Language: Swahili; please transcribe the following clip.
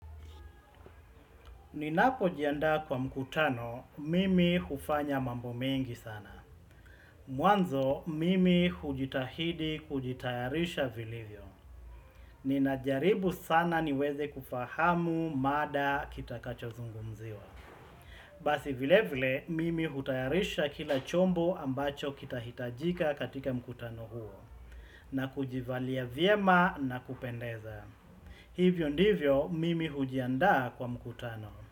Ninapojiandaa kwa mkutano, mimi hufanya mambo mengi sana. Mwanzo, mimi hujitahidi kujitayarisha vilivyo. Ninajaribu sana niweze kufahamu mada kitakacho zungumziwa. Basi vile vile, mimi hutayarisha kila chombo ambacho kitahitajika katika mkutano huo. Na kujivalia vyema nakupendeza. Hivyo ndivyo, mimi hujianda kwa mkutano.